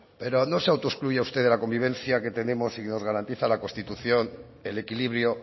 pero no se autoexcluye a usted de la convivencia que tenemos y nos garantiza la constitución el equilibrio